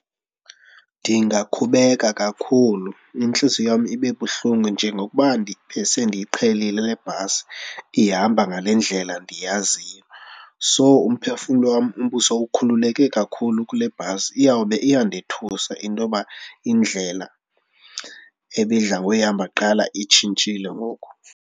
Ndingaqhubeka kakhulu, intliziyo yam ibe buhlungu njengokuba besendiyiqhelile le bhasi ihamba ngale ndlela ndiyaziyo. So umphefumlo wam ubusowukhululeke kakhulu kule bhasi, iyawube iyandothusa into yoba indlela ebidla ngoyihamba kuqala itshintshile ngoku.